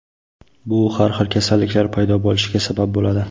Bu har xil kasalliklar paydo bo‘lishiga sabab bo‘ladi.